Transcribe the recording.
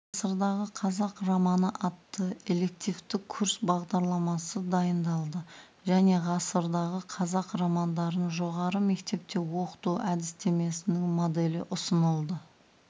ғасырдағы қазақ романы атты элективті курс бағдарламасы дайындалды және ғасырдағы қазақ романдарын жоғары мектепте оқыту әдістемесінің моделі ұсынылды